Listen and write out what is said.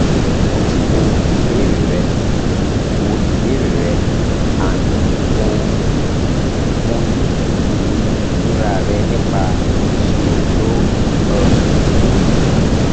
mo ti wo ìbéèrè rẹ wo ìbéèrè rẹ & mo mọyì ìmí ìnira rẹ nípa um ìṣòro tó um o ní